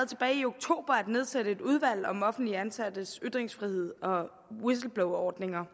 tilbage i oktober at nedsætte et udvalg om offentligt ansattes ytringsfrihed og whistleblowerordninger